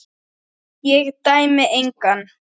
Ég dæmi engan.